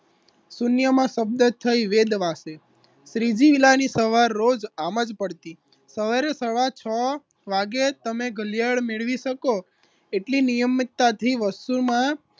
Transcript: શૂન્યમાં શબ્દ થઈ વેદવાસે શ્રીજી વીલાની સવાર રોજ આમ જ પડતી સવારે સવા છ વાગે તમે કલ્યાણ મેળવી શકો એટલી નિયમિતતાથી વસ્તુમાં